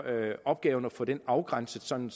opgaven at få den afgrænset sådan